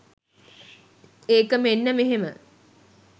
ඒක මෙන්න මෙහෙම.